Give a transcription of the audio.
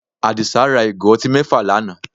Àdìsá ra ìgò ọtí mẹ́fà lánàá